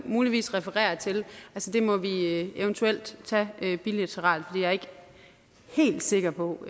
muligvis refererer til må vi eventuelt tage bilateralt for jeg er ikke helt sikker på